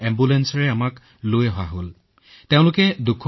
তেওঁলোকে আমাৰ এটা ৱাৰ্ডলৈ স্থানান্তৰিত কৰিলে